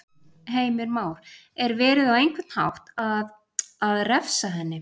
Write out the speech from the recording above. Heimir Már: Er verið, á einhvern hátt að, að, að refsa henni?